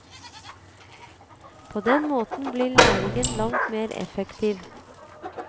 På den måten blir læringen langt mer effektiv.